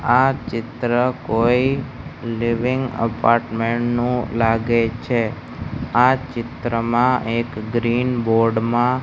આ ચિત્ર કોઈ લિવિંગ અપાર્ટમેન્ટ નો લાગે છે આ ચિત્રમાં એક ગ્રીન બોર્ડ માં --